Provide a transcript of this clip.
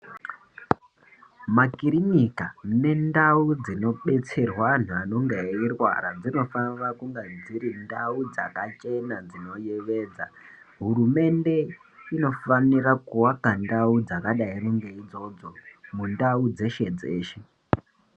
Makirinika nendau dzinobetserwa antu anenga eirwara dzinofanira kunge dziri ndau dzakachena dzinoyevedza hurumende inofanira kuvaka ndau dzakadaro ngeidzodzo mundau dzeshe dzeshe.